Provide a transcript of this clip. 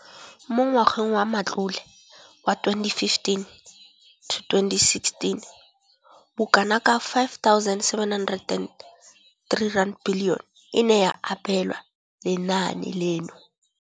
Mo ngwageng wa matlole wa 2015,16, bokanaka R5 703 bilione e ne ya abelwa lenaane leno.